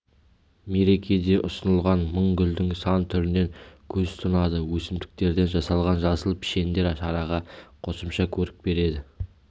мерекеде ұсынылған мың гүлдің сан түрінен көз тұнады өсімдіктерден жасалған жасыл пішіндер шараға қосымша көрік береді